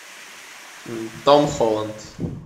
том холланд